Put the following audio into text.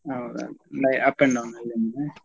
ಹೌದೌದು up and down .